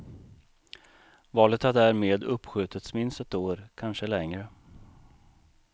Valet har därmed uppskjutits minst ett år, kanske längre.